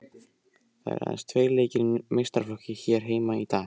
Það eru aðeins tveir leikir í meistaraflokki hér heima í dag.